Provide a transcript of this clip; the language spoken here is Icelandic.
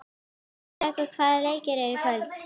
Hrærekur, hvaða leikir eru í kvöld?